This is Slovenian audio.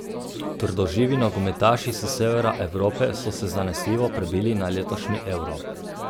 Trdoživi nogometaši s severa Evrope so se zanesljivo prebili na letošnji Euro.